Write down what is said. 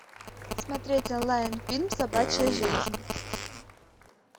смотреть онлайн фильм собачья жизнь